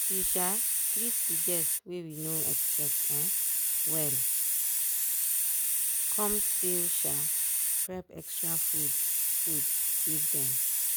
she um treat de guests wey we no expect um wellcomes still um prep extra food food give dem